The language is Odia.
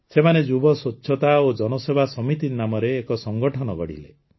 ସେମାନେ ଯୁବ ସ୍ୱଚ୍ଛତା ଏବଂ ଜନସେବା ସମିତି ନାମରେ ଏକ ସଂଗଠନ ଗଢ଼ିଲେ